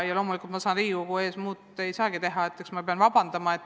Ja loomulikult ei saagi ma Riigikogu ees teha muud, kui et pean vabandama.